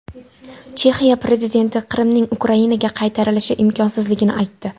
Chexiya prezidenti Qrimning Ukrainaga qaytarilishi imkonsizligini aytdi.